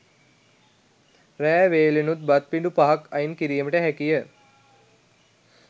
රෑ වේලෙනුත් බත් පිඬු පහක් අයින් කිරීමට හැකිය.